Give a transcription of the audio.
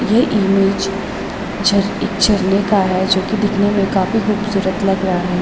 यह इमेज झर झरने का है जो की दिखने में काफी खूबसूरत लग रहा है।